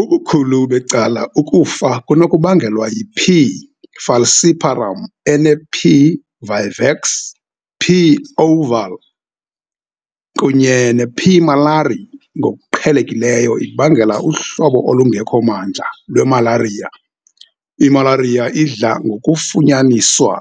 Ubukhulu becala ukufa kunokubangelwa yi"P. falciparum" ene"P. vivax", "P. ovale",kunye "P. malariae" ngokuqhelekileyo ibangela uhlobo olungekho mandla lwemalariya. Imalariya idla ngokufunyaniswa